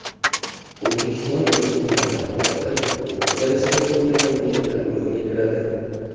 O‘zbekiston insoniyat taraqqiyoti o‘rta darajada bo‘lgan mamlakatlar guruhiga kiradi.